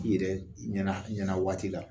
I yɛrɛ ɲɛna waati la